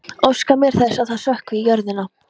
Óska mér þess að það sökkvi í jörðina.